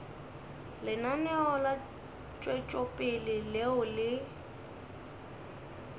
lenaneo la tšwetšopele leo le